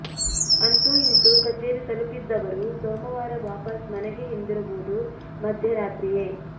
ಅಂತೂ ಇಂತೂ ಕಚೇರಿ ತಲುಪಿದ್ದವರೂ ಸೋಮವಾರ ವಾಪಸ್ ಮನೆಗೆ ಹಿಂದಿರುಗುವುದು ಮಧ್ಯರಾತ್ರಿಯೇ